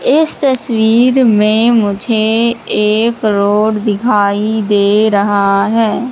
इस तस्वीर में मुझे एक रोड दिखाई दे रहा है।